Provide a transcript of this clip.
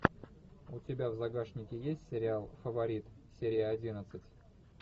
у тебя в загашнике есть сериал фаворит серия одиннадцать